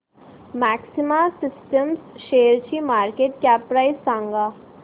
maxima systems शेअरची market cap price सांगा